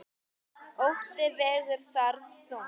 Ótti vegur þar þungt.